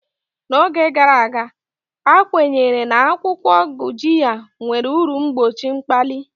N'oge gara aga, a kwenyere na akwụkwọ Gurjiya nwere uru mgbochi mkpali.